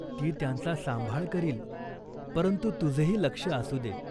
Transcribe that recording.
ती त्यांचा सांभाळ करील.परंतु तुझेही लक्ष असू दे.